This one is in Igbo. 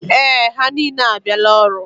Ee, ha niile abịala ọrụ.